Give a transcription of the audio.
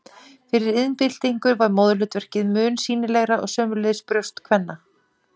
Fyrir iðnbyltingu var móðurhlutverkið mun sýnilegra og sömuleiðis brjóst kvenna.